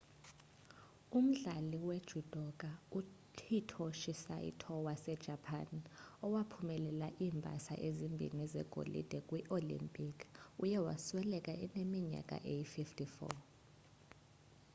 umdlali wejudoka uhitoshi saito wasejapan owaphumelela iimbasa ezimbini zegolide kwii-olimpiki uye wasweleka eneminyaka eyi-54